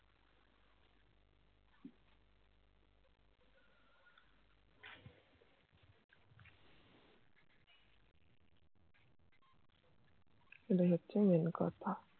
এটাই হচ্ছে Main কথা